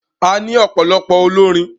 A ní ọ̀pọ̀lọpọ̀ olórin.